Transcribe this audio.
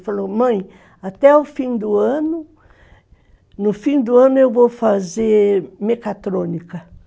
Ele falou, mãe, até o fim do ano, no fim do ano eu vou fazer mecatrônica.